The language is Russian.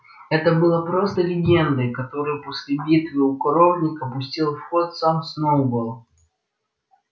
это было просто легендой которую после битвы у коровника пустил в ход сам сноуболл